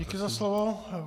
Děkuji za slovo.